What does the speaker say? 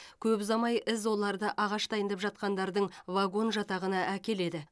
көп ұзамай із оларды ағаш дайындап жатқандардың вагон жатағына әкеледі